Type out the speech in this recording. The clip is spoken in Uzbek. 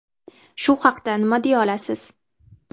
Shu haqda nima deya olasiz?